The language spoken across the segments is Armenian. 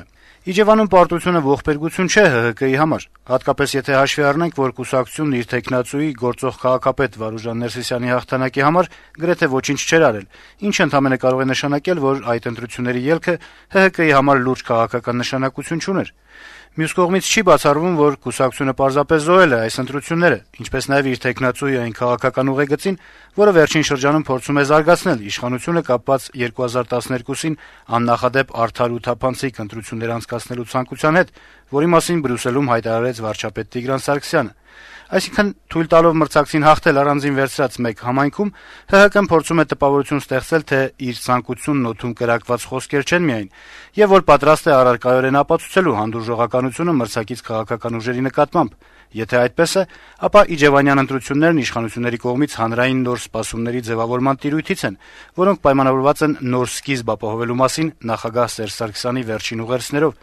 է. - «Իջեւանում պարտությունը ողբերգություն չէ ՀՀԿ-ի համար: Հատկապես, եթե հաշվի առնենք, որ կուսակցությունն իր թեկնածուի` գործող քաղաքապետ Վարուժան Ներսիսյանի հաղթանակի համար գրեթե ոչինչ չէր արել, ինչը ընդամենը կարող է նշանակել, որ այդ ընտրությունների ելքը ՀՀԿ-ի համար լուրջ քաղաքական նշանակություն չուներ: Մյուս կողմից` չի բացառվում, որ կուսակցությունը պարզապես զոհել է այս ընտրությունները, ինչպես նաեւ իր թեկնածուին այն քաղաքական ուղեգծին, որը վերջին շրջանում փորձում է զարգացնել իշխանությունը` կապված 2012-ին աննախադեպ արդար ու թափանցիկ ընտրություններ անցկացնելու ցանկության հետ, որի մասին Բրյուսելում հայտարարեց վարչապետ Տիգրան Սարգսյանը: Այսինքն՝ թույլ տալով մրցակցին հաղթել առանձին վերցրած մեկ համայնքում` ՀՀԿ-ն փորձում է տպավորություն ստեղծել, թե իր ցանկություններն օդում կրակված խոսքեր չեն միայն, եւ որ պատրաստ է առարկայորեն ապացուցել հանդուրժողականությունը մրցակից քաղաքական ուժերի նկատմամբ: Եթե այդպես է, ապա իջեւանյան ընտրություններն իշխանությունների կողմից հանրային նոր սպասումների ձեւավորման տիրույթից են, որոնք պայմանավորված են «նոր սկիզբ» ապահովելու մասին` նախագահ Սերժ Սարգսյանի վերջին ուղերձներով»: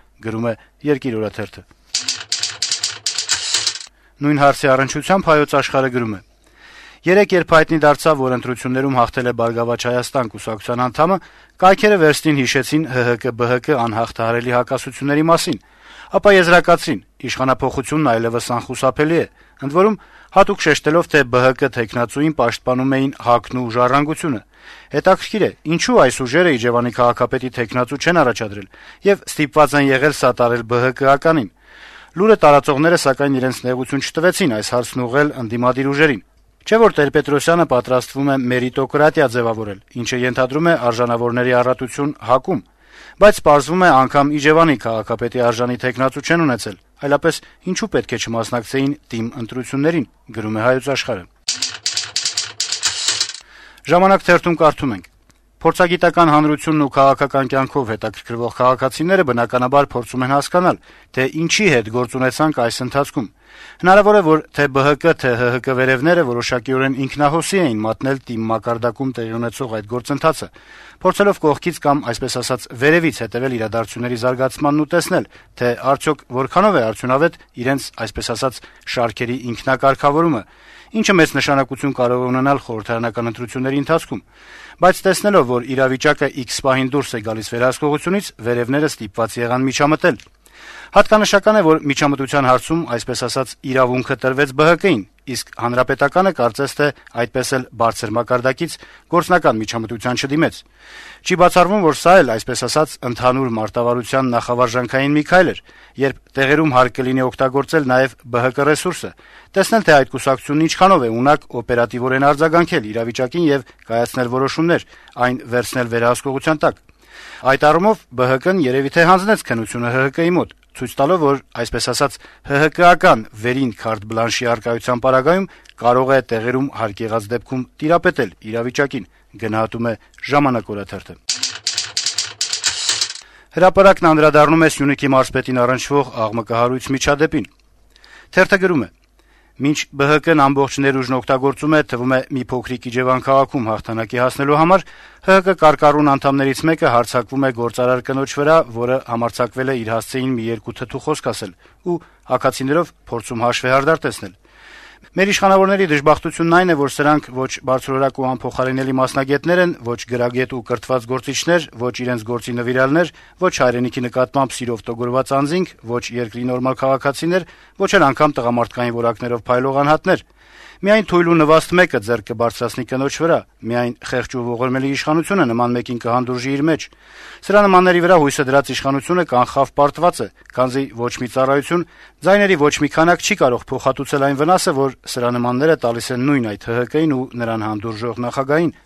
Նույն հարցի առնչությամբ «Հայոց Աշխարհ»-ը գրում է. - «Երեկ, երբ հայտնի դարձավ, որ ընտրություններում հաղթել է «Բարգավաճ Հայաստան» կուսակցության անդամը, կայքերը վերստին հիշեցին «ՀՀԿ-ԲՀԿ անհաղթահարելի հակասությունների մասին»։ Ապա եզրակացրին` «Իշխանափոխությունն այլեւս անխուսափելի է»: Ընդ որում, հատուկ շեշտելով, թե ԲՀԿ թեկնածուին պաշտպանում էին ՀԱԿ-ն ու «Ժառանգությունը»: Հետաքրքիր է, ինչո՞ւ այս ուժերը Իջեւանի քաղաքապետի թեկնածու չեն առաջադրել, եւ ստիպված են եղել «սատարել» ԲՀԿ-ականին: Լուրը տարածողները, սակայն, իրենց նեղություն չտվեցին այս հարցն ուղղել ընդդիմադիր ուժերին: Չէ՞ որ Տեր-Պետրոսյանը պատրաստվում է «մերիտոկրատիա» ձեւավորել, ինչը ենթադրում է արժանավորների առատություն ՀԱԿ-ում: Բայց, պարզվում է, անգամ Իջեւանի քաղաքապետի արժանի թեկնածու չեն ունեցել, այլապես ինչո՞ւ պետք է չմասնակցեին ՏԻՄ ընտրություններին»: «Ժամանակ» թերթում կարդում ենք. - «Փորձագիտական հանրությունն ու քաղաքական կյանքով հետաքրքրվող քաղաքացիները, բնականաբար, փորձում են հասկանալ, թե ինչի հետ գործ ունեցանք այս ընթացքում: Հնարավոր է, որ թե' ԲՀԿ, թե' ՀՀԿ վերեւները որոշակիորեն ինքնահոսի էին մատնել ՏԻՄ մակարդակում տեղի ունեցող այդ գործընթացը` փորձելով կողքից կամ այսպես ասած` վերեւից հետեւել իրադարձությունների զարգացմանն ու տեսնել, թե արդյոք որքանով է արդյունավետ իրենց, այսպես ասած, շարքերի ինքնակարգավորումը, ինչը մեծ նշանակություն կարող է ունենալ խորհրդարանական ընտրությունների ընթացքում: Բայց, տեսնելով, որ իրավիճակը իքս պահին դուրս է գալիս վերահսկողությունից, վերեւները ստիպված եղան միջամտել: Հատկանշական է, որ միջամտության հարցում, այսպես ասած, «իրավունքը» տրվեց ԲՀԿ-ին, իսկ «Հանրապետականը» կարծես թե այդպես էլ բարձր մակարդակից գործնական միջամտության չդիմեց: Չի բացառվում, որ սա էլ, այսպես ասած, ընդհանուր մարտավարության նախավարժանքային մի քայլ էր, երբ տեղերում հարկ կլինի օգտագործել նաեւ ԲՀԿ ռեսուրսը, տեսնել, թե այդ կուսակցությունն ինչքանով է ունակ օպերատիվ արձագանքել իրավիճակին եւ կայացնել որոշումներ, այն վերցնել վերահսկողության տակ: Այդ առում, ԲՀԿ-ն երեւի թե հանձնեց քննությունը ՀՀԿ-ի մոտ` ցույց տալով, որ այսպես ասած` ՀՀԿ-ական վերին քարտ-բլանշի առկայության պարագայում կարող է տեղերում հարկ եղած դեպքում տիրապետել իրավիճակին»: «Հրապարակ»-ն անդրադառնում է Սյունիքի մարզպետին առնչվող աղմկահարույց միջադեպին. - «Մինչ ԲՀԿ-ն ամբողջ ներուժն օգտագործում է, թվում է, մի փոքրիկ Իջեւան քաղաքում հաղթանակի հասնելու համար, ՀՀԿ կարկառուն անդամներից մեկը հարձակվում է գործարար կնոջ վրա, որը համարձակվել է իր հասցեին մի երկու թթու խոսք ասել, ու աքացիներով փորձում հաշվեհարդար տեսնել։ Մեր իշխանավորների դժբախտությունն այն է, որ սրանք ո'չ բարձրորակ ու անփոխարինելի մասնագետներ են, ո'չ գրագետ ու կրթված գործիչներ, ո'չ իրենց գործի նվիրյալներ, ո'չ հայրենիքի նկատմամբ սիրով տոգորված անձինք, ո'չ երկրի նորմալ քաղաքացիներ, ո'չ էլ անգամ տղամարդկային որակներով փայլող անհատներ։ Միայն թույլ ու նվաստ մեկը ձեռք կբարձրացնի կնոջ վրա։ Միայն խեղճ ու ողորմելի իշխանությունը նման մեկին կհանդուրժի իր մեջ։ Սրա նմանների վրա հույսը դրած իշխանությունը կանխավ պարտված է, քանզի ոչ մի ծառայություն, ձայների ոչ մի քանակ չի կարող փոխհատուցել այն վնասը, որ սրա նմանները տալիս են նույն այդ ՀՀԿ-ին ու նրան հանդուրժող նախագահին»։